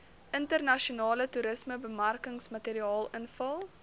internasionale toerismebemarkingsmateriaal invul